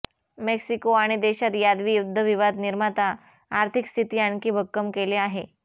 Mexico आणि देशात यादवी युद्ध विवाद निर्माता आर्थिक स्थिती आणखी भक्कम केले आहे